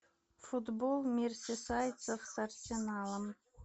футбол мерсисайдцев с арсеналом